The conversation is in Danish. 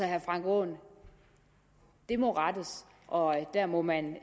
herre frank aaen det må rettes og der må man